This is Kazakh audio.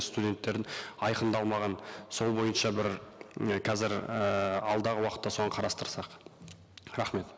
студенттердің айқындалмаған сол бойынша бір і қазір ііі алдағы уақытта соны қарастырсақ рахмет